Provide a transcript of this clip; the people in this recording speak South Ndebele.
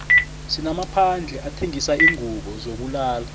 sinamaphandle athengisa izingubo zokulala